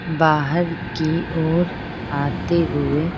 बाहर की ओर आते हुए--